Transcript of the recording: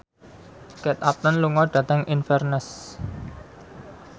Kate Upton lunga dhateng Inverness